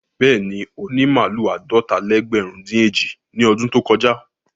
Bẹ́ẹ̀ni, ó ní màlúù àádọ́ta-lẹ́gbẹ̀rún-dín-èjì ní ọdún tó kọjá.